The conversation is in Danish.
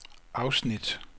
afsnit